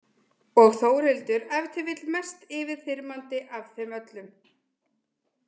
Og Þórhildur ef til vill mest yfirþyrmandi af þeim öllum.